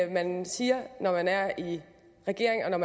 man siger når man er i regering